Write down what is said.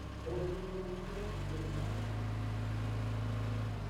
ũgũni wa kũrutithia mbica cĩa kĩimba nĩ ũrĩkũ?